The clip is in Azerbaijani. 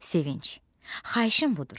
Sevinc, xahişim budur: